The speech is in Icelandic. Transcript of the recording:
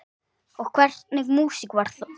Og hvernig músík var þetta?